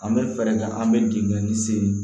An bɛ fɛɛrɛ kɛ an bɛ dingɛ ni sen